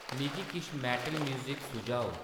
मिगी किश metal music सुझाओ